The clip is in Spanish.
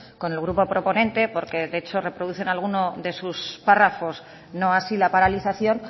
con el grupo proponente porque de hecho reproducen alguno de su párrafos no así la paralización